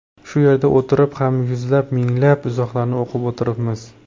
Shu yerda o‘tirib ham yuzlab, minglab izohlarni o‘qib o‘tiribmiz.